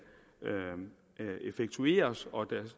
effektueres og